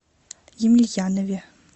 емельянове